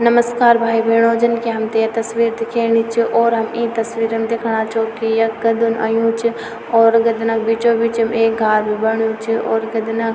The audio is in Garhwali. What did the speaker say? नमस्कार भाई बैणो जन की हमथे ये तस्वीर दिखेणी च और हम ई तस्वीर म दिखना छौ की यख गद्यन अयूं च और गद्यना क बीचो बीचम एक घार भी बण्यू च और गद्यना --